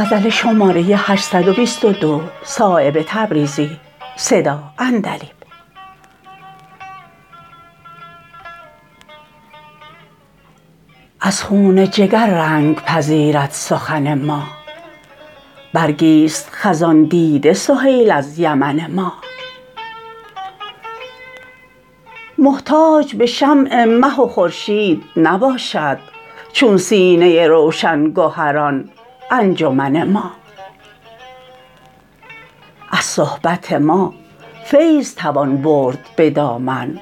از خون جگر رنگ پذیرد سخن ما برگی است خزان دیده سهیل از یمن ما محتاج به شمع مه و خورشید نباشد چون سینه روشن گهران انجمن ما از صحبت ما فیض توان برد به دامن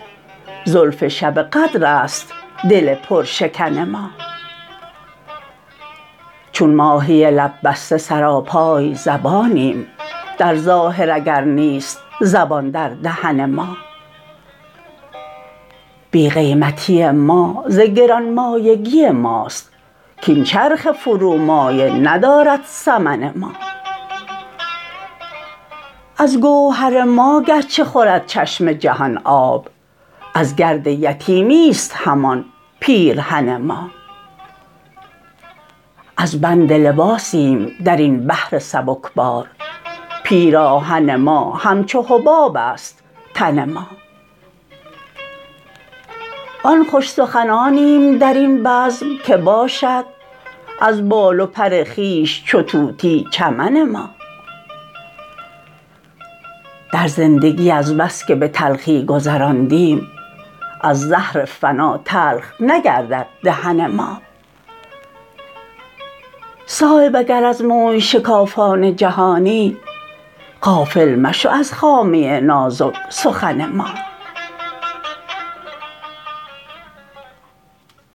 زلف شب قدرست دل پرشکن ما چون ماهی لب بسته سراپای زبانیم در ظاهر اگر نیست زبان در دهن ما بی قیمتی ما ز گران مایگی ماست کاین چرخ فرومایه ندارد ثمن ما از گوهر ما گرچه خورد چشم جهان آب از گرد یتیمی است همان پیرهن ما از بند لباسیم درین بحر سبکبار پیراهن ما همچو حباب است تن ما آن خوش سخنانیم درین بزم که باشد از بال و پر خویش چو طوطی چمن ما در زندگی از بس که به تلخی گذراندیم از زهر فنا تلخ نگردد دهن ما صایب اگر از موی شکافان جهانی غافل مشو از خامه نازک سخن ما